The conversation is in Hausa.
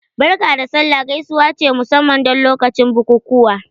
"Barka da sallah" gaisuwa ce musamman don lokacin bukukuwa